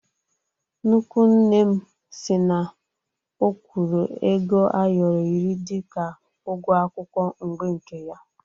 Nnukwu nne m si na ọ̀kwụ́rụ́ ego ayoro iri dịka ụgwọ akwụkwọ mgbe nke ya